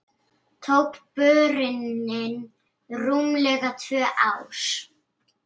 Tók borunin rúmlega tvö ár.